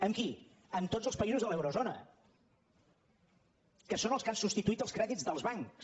amb qui amb tots els països de l’eurozona que són els que han substituït els crèdits dels bancs